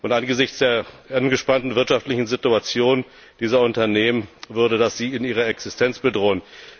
Angesichts der angespannten wirtschaftlichen Situation dieser Unternehmen würde sie das in ihrer Existenz bedrohen.